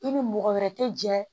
I ni mɔgɔ wɛrɛ tɛ jɛ